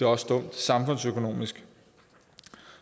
også dumt samfundsøkonomisk